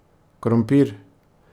Krompir.